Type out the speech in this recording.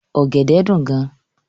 Ògèdè dún gán